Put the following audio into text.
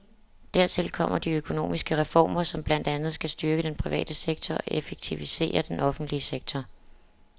Dertil kommer de økonomiske reformer, som blandt andet skal styrke den private sektor og effektivisere den offentlige sektor.